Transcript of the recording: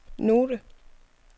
note